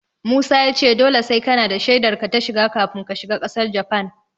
Musa ya ce dole sai kanada da shaidar ka ta shiga kafin ka shiga ƙasar Japan.